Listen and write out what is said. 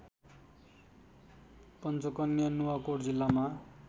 पञ्चकन्या नुवाकोट जिल्लामा